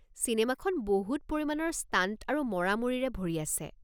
চিনেমাখন বহুত পৰিমাণৰ ষ্টাণ্ট আৰু মৰামৰিৰে ভৰি আছে।